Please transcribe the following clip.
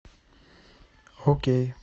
окей